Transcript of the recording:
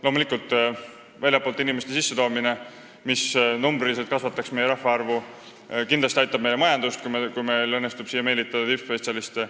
Loomulikult on selleks väljastpoolt inimeste sissetoomine, mis kasvataks numbriliselt meie rahvaarvu ja aitaks kindlasti meie majandust, kui meil õnnestuks siia meelitada tippspetsialiste.